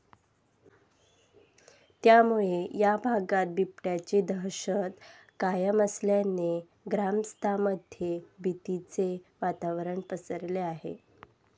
त्यामुळे या भागात बिबट्याची दहशत कायम असल्याने ग्रामस्थांमध्ये भीतीचे वातावरण पसरले आहे.